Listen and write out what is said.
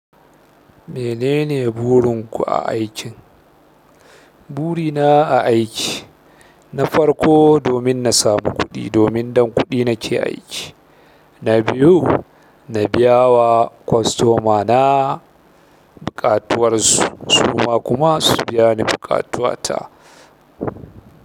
Menene burin ku a aikin? Buri na a aiki, na farko domin na samu kuɗi, domin dan kuɗi nake aiki. Na biyu na biyawa kwastomana buƙatuwar su, su kuma su biya ni buƙatuwa ta.